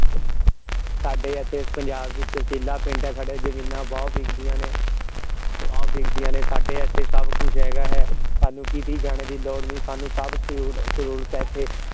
ਸਾਡੇ ਇਥੇ ਪੰਜਾਬ ਵਿਚ ਚੀਲਾ ਪਿੰਡ ਹੈ ਸਾਡਾ ਜਮੀਨਾਂ ਬਹੁਤ ਬਿਕਦੀਆਂ ਨੇ ਬਹੁਤ ਬਿਕਦੀਆਂ ਨੇ ਸਾਡੇ ਇਥੇ ਸਭ ਕੁਛ ਹੈਗਾ ਹੈ ਸਾਨੂ ਕੀਤੇ ਜਾਣੇ ਦੀ ਲੋੜ ਨਹੀਂ ਸਾਨੂ ਸਭ ਸਹੂਲ ਸਹੂਲਤਾਂ ਇਥੇ